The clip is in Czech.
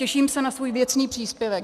Těším se na svůj věcný příspěvek.